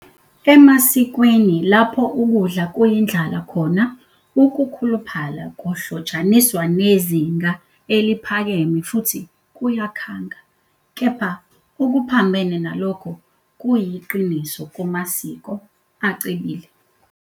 Emasikweni lapho ukudla kuyindlala khona, ukukhuluphala kuhlotshaniswa nezinga eliphakeme futhi kuyakhanga, kepha okuphambene nalokho kuyiqiniso kumasiko acebile.